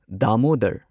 Damodar